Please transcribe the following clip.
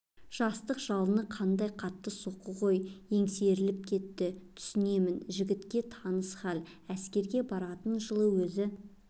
жастық жалын қайда қатты соқты ғой есеңгіретіп кетті түсінемін жігітке таныс хал әскерге баратын жылы өзі